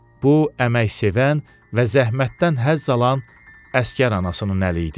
Bu əməksevən və zəhmətdən həzz alan əsgər anasının əli idi.